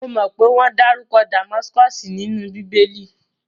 Mo mọ pé wọ́n dárúkọ Damaskosi nínú bíbé!lì